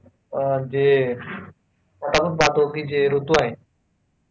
अं जे जे ऋतू आहेत.